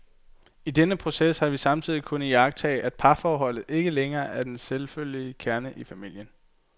I denne proces har vi samtidig kunnet iagttage, at parforholdet ikke længere er den selvfølgelige kerne i familien.